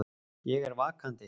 Ég er vakandi.